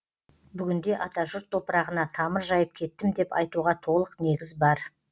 бүгінде атажұрт топырағына тамыр жайып кеттім деп айтуға толық негіз бар